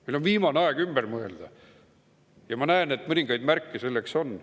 Meil on viimane aeg ümber mõelda ja ma näen, et mõningaid märke selle kohta on.